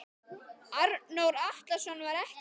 Arnór Atlason var ekki með.